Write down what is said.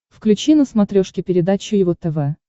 включи на смотрешке передачу его тв